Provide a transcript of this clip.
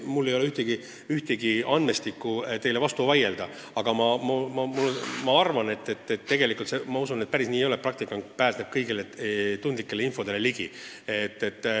Mul ei ole mingit tõestust, et teile vastu vaielda, aga ma usun, et päris nii see ei ole, et praktikant pääseb igasugusele delikaatsele infole ligi.